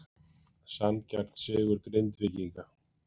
Sanngjarn sigur Grindvíkinga